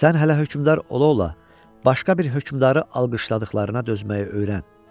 Sən hələ hökmdar ola-ola başqa bir hökmdarı alqışladıqlarına dözməyi öyrən.